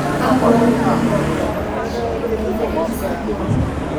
kakwa oitoi nayau batisho enkata enkisampuare